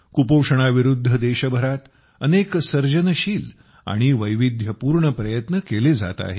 कुपोषणाविरुद्ध देशभरात अनेक सर्जनशील आणि वैविध्यपूर्ण प्रयत्न केले जात आहेत